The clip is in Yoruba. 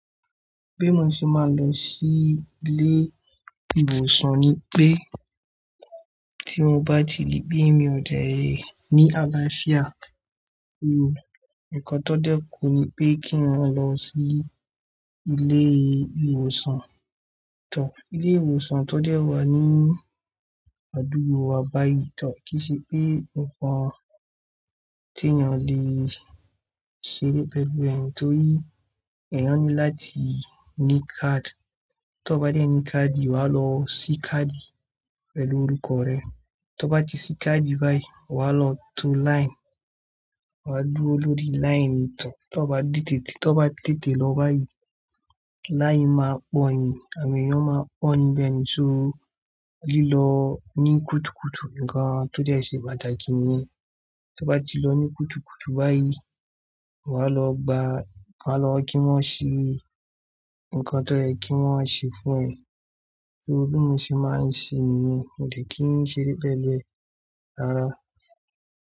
Bí mo ṣe máa ń lọ sí ilé ìwòsàn ni pé tí mo bá ti ri bí mi òdẹ̀ ẹ ní àlàáfíà, ohun nǹkan tó dẹ́ku ni pé kí eyan lọ sí ilé ìwòsàn. Tor ilé ìwòsàn tó dẹ́ ọ wá ní àdúgbò wa báyìí tọ̀r kí i ṣe pé nǹkan tí èèyàn le ṣe ré pẹ̀lú ẹ̀, nítorí èèyàn ní láti ní káàdì. Tó bá dé ẹ ní káàdì, wà á lọ sí káàdì pẹ̀lú orúkọ rẹ. Tó bá ti sí káàdì báyìí, wà á lọ to line. Wà á dúró lórí line ni tọ̀. Tó bá tètè, tó bá tètè lọ báyìí, line máa gbọ́ yẹn àwon èèyàn máa pọ̀ níbẹ̀ ni, so lílọ ní kùtùkùtù, nǹkan tó dẹ́ ṣe pàtàkì ni. Tó bá ti lọ ní kùtùkùtù báyìí, wà á lọ gba, wà á lọ kí wọ́n ṣe nǹkan tó ye kí wọ́n ṣe fún ẹ. Bí mo ṣe máa ń ṣe nìyẹn, mòdẹ̀ kí ń ṣe ré pẹ̀lu e rara.